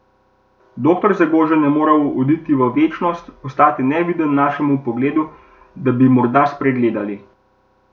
Doktor Zagožen je moral oditi v večnost, postati neviden našemu pogledu, da bi morda spregledali.